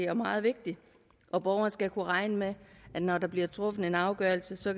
er meget vigtig og borgeren skal kunne regne med at når der bliver truffet en afgørelse så